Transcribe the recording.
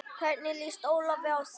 Hvernig lýst Ólafi á það?